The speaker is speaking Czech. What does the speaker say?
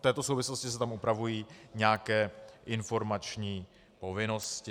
V této souvislosti se tam upravují nějaké informační povinnosti.